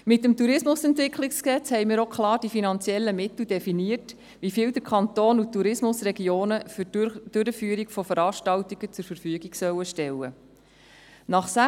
Mit dem Tourismusentwicklungsgesetz (TEG) haben wir auch klar definiert, wie viele finanzielle Mittel der Kanton und die Tourismusregionen für die Durchführung von Veranstaltungen zur Verfügung stellen sollen.